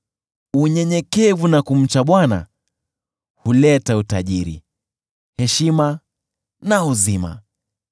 Unyenyekevu na kumcha Bwana huleta utajiri, heshima na uzima.